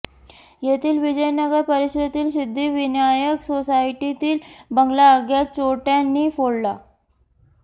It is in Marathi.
येथील विजयनगर परिसरातील सिद्धिविनायक सोसायटीतील बंगला अज्ञात चोरट्यांनी फोडला